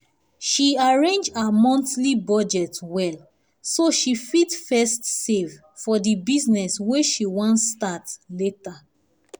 she arrange her monthly budget well so she fit first save for the business wey she wan start later.